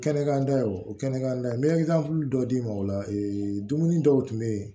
Kɛnɛ kan o kɛnɛ kan n bɛ dɔ d'i ma o la dumuni dɔw tun bɛ yen